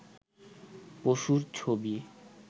পশুর ছবি